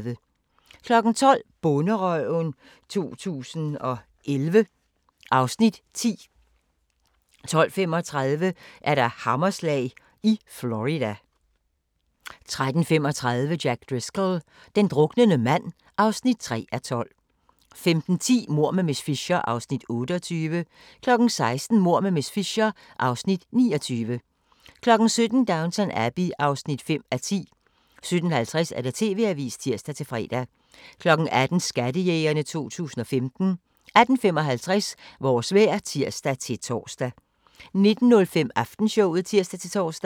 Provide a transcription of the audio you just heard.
12:00: Bonderøven 2011 (Afs. 10) 12:35: Hammerslag i Florida 13:35: Jack Driscoll – den druknende mand (3:12) 15:10: Mord med miss Fisher (Afs. 28) 16:00: Mord med miss Fisher (Afs. 29) 17:00: Downton Abbey (5:10) 17:50: TV-avisen (tir-fre) 18:00: Skattejægerne 2015 18:55: Vores vejr (tir-tor) 19:05: Aftenshowet (tir-tor)